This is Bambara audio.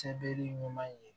Sebere ɲuman ye